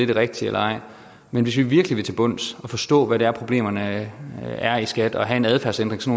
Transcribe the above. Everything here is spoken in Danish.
det rigtige eller ej men hvis vi virkelig vil til bunds i og forstå hvad det er problemerne er i skat og have en adfærdsændring så